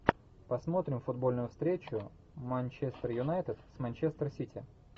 посмотрим футбольную встречу манчестер юнайтед с манчестер сити